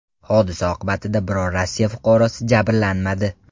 Hodisa oqibatida biror Rossiya fuqarosi jabrlanmadi.